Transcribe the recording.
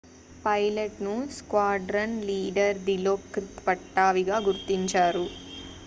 పైలట్ను squadron leader దిలోక్రిత్ పట్టావీగా గుర్తించారు